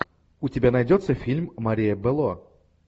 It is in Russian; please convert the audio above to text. у тебя найдется фильм мария белло